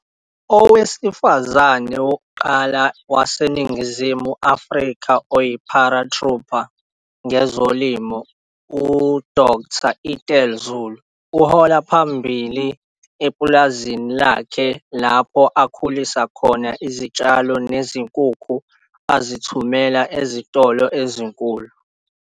Owesifazane wokuqala waseNingizimu Afrika oyi-paratrooper ngezolimo UDkt Ethel Zulu uhola phambili epulazini lakhe lapho akhulisa khona izitshalo nezinkukhu azithumela ezitolo ezinkulu.